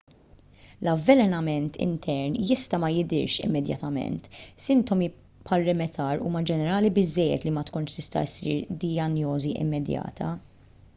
l-avvelenament intern jista' ma jidhirx immedjatament sintomi bħar-rimettar huma ġenerali biżżejjed li ma tkunx tista' ssir dijanjosi immedjata